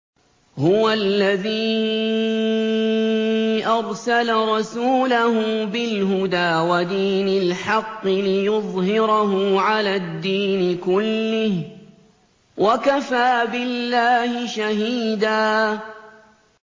هُوَ الَّذِي أَرْسَلَ رَسُولَهُ بِالْهُدَىٰ وَدِينِ الْحَقِّ لِيُظْهِرَهُ عَلَى الدِّينِ كُلِّهِ ۚ وَكَفَىٰ بِاللَّهِ شَهِيدًا